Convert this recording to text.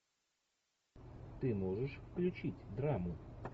ты можешь включить драму